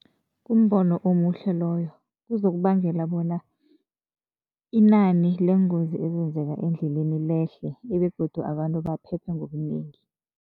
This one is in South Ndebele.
Kumbono omuhle loyo. Kuzokubangela bona inani leengozi ezenzeka endleleni lehle begodu abantu baphephe ngobunengi